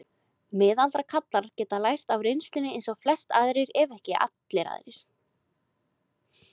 Miðaldra karlar geta lært af reynslunni eins og flestir ef ekki allir aðrir.